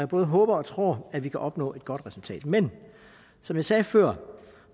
både håber og tror at vi kan opnå et godt resultat men som jeg sagde før